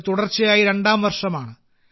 ഇത് തുടർച്ചയായി രണ്ടാം വർഷമാണ്